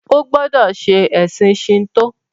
o gbódò ṣe ẹsìn Shinto!